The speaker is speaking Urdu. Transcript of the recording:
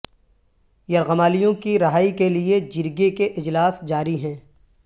یرغمالیوں کی رہائی کے لیے جرگے کے اجلاس جاری ہیں